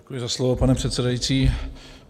Děkuji za slovo, pane předsedající.